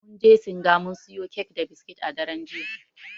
Mun je singa mun siyo kek da biskit a daren jiya.